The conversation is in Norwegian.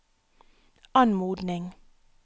anmodning